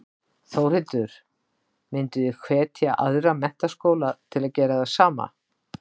Þórhildur: Mynduð þið hvetja aðra menntaskóla til að gera það sama?